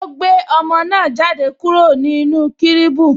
O gbé ọmọ náà jáde kúrò ní ibi cribu